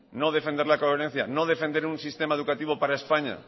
no defender la coherencia no defender un sistema educativo para españa